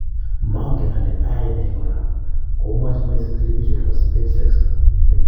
"Mongen ole oyoe ne kora" komwach Messi telepision nepo spain sexta.